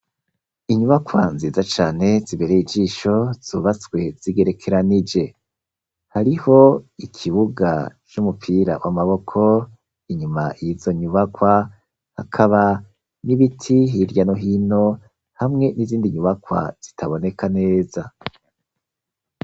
Inyubakwa nziza cane ziberey' ijisho zubaswe zigerekeranije, hariho ikibuga c'umupira w'amaboko inyuma yizo nyubakwa hakaba n'ibiti hirya no hino hamwe n'izindi nyubakwa zitaboneka neza